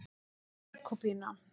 Jakobína